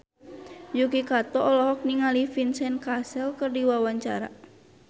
Yuki Kato olohok ningali Vincent Cassel keur diwawancara